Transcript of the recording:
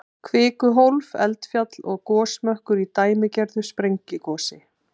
Kvikuhólf, eldfjall og gosmökkur í dæmigerðu sprengigosi.